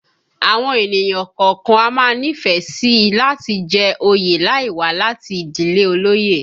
Àwọn ènìyàn kọ̀ọ̀kan a máa nífẹ̀ẹ́ sí i láti jẹ oyè láì wá láti ìdílé olóyè